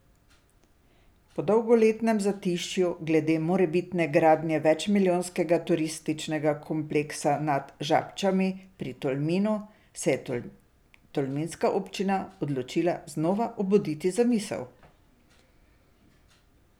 Po dolgoletnem zatišju glede morebitne gradnje večmilijonskega turističnega kompleksa nad Žabčami pri Tolminu se je tolminska občina odločila znova obuditi zamisel.